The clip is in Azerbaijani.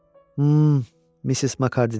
Mm, Missis Makardiy dedi.